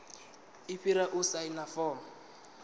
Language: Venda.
i fhira u saina fomo